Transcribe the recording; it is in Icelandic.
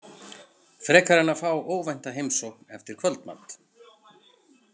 Frekar en að fá óvænta heimsókn eftir kvöldmat.